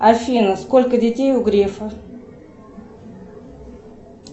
афина сколько детей у грефа